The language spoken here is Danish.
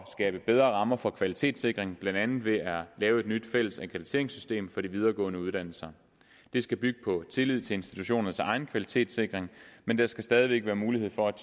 skabe bedre rammer for kvalitetssikring blandt andet ved at lave et nyt fælles akkrediteringssystem for de videregående uddannelser det skal bygge på tillid til institutionernes egen kvalitetssikring men der skal stadig væk være mulighed for at